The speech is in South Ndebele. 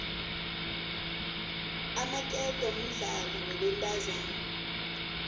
amaketo mudlalo wabentazana